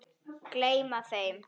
Gleyma þeim.